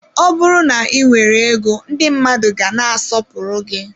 Ọ bụrụ na ị nwere ego, ndị mmadụ ga na-asọpụrụ gị.